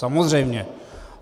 Samozřejmě.